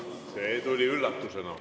See tuli üllatusena.